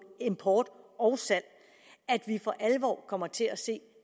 import og salg for alvor kommer til at se